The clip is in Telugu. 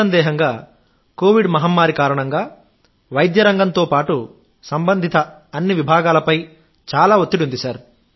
నిస్సందేహంగా కోవిడ్ మహమ్మారి కారణంగా వైద్య రంగంతో పాటు సంబంధిత అన్ని విభాగాలపై చాలా ఒత్తిడి ఉంది